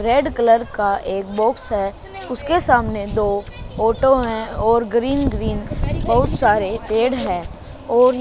red colour का एक box है उसके सामने दो ऑटो हैं और ग्रीन ग्रीन बहुत सारे पेड़ हैं और--